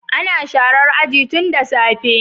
Ana sharar aji tun da safe.